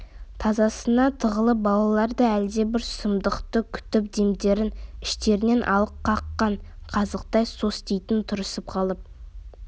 тасасына тығылған балалар да әлдебір сұмдықты күтіп демдерін іштерінен алып қаққан қазықтай состиып тұрысып қалып